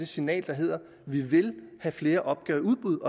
signal der hedder at vi vil have flere opgaver i udbud